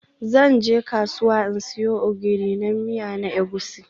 Zan je kasuwa in siyo Ogiri na miya na Egusi.